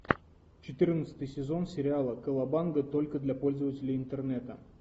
четырнадцатый сезон сериала колобанга только для пользователей интернета